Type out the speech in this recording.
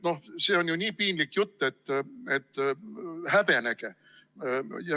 Noh, see on nii piinlik jutt, et häbenege!